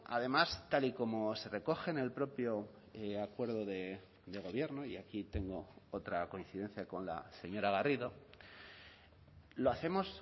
además tal y como se recoge en el propio acuerdo de gobierno y aquí tengo otra coincidencia con la señora garrido lo hacemos